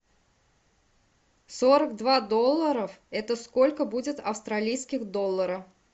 сорок два долларов это сколько будет австралийских доллара